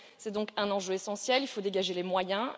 C'est donc un enjeu essentiel, il faut dégager les moyens.